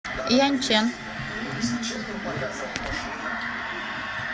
яньчэн